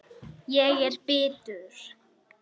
Ég er bitur.